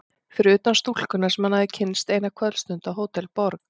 Fyrir utan stúlkuna sem hann hafði kynnst eina kvöldstund á Hótel Borg.